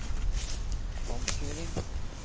omkjøring